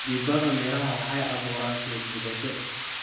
Midabada miraha waxay abuuraan soo jiidasho.